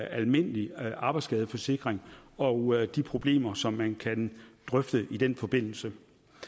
almindelig arbejdsskadeforsikring og de problemer som man kan drøfte i den forbindelse